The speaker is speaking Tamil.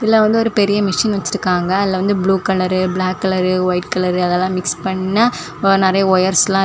இதுல வந்து ஒரு பெரிய மெஷின் வெச்சிருக்காங்க அதுல வந்து blue colour black colour white colour அதெல்லாம் மிக்ஸ் பண்ண நிறைய வயர்ஸ் எல்லா.